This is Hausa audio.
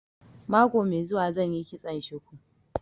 Mako mai zuwa zan yi kitson shuku